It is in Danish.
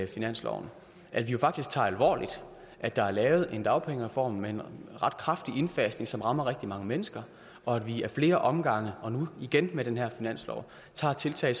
finansloven at vi faktisk tager alvorligt at der er lavet en dagpengereform med en ret kraftig indfasning som rammer rigtig mange mennesker og at vi ad flere omgange og nu igen med den her finanslov tager tiltag